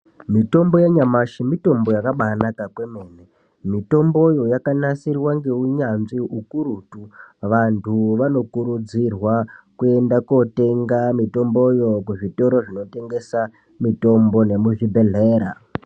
Mitombo yanyamashi mitombo yakabaanaka kwemene. Mitomboyo yakanasirwa ngeunyanzvi ukurutu. Vantu vanokurudzirwa kuenda kootenga mitomboyo kuzvitoro zvinotengesa mitombo nemuzvibhedhlera.